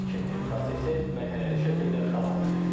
Tikinti prosesi mərhələli şəkildə davam edir.